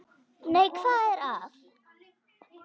Nei, hvað er að?